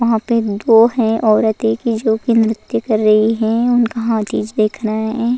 यहा पे दो है औरतों की जो की नृत्य कर रही है उनका हर चीज दिख रही है।